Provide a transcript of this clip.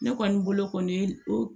Ne kɔni bolo kɔni o